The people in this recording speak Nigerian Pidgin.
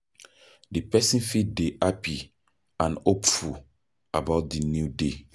Di person fit dey happy and hopeful about di new day